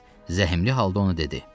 Kriqs zəhmli halda onu dedi: